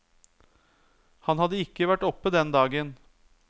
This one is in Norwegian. Han hadde ikke vært oppe den dagen.